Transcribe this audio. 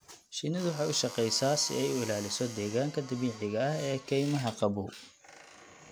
Shinnidu waxay u shaqeysaa si ay u ilaaliso deegaanka dabiiciga ah ee kaymaha qabow.